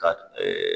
Ka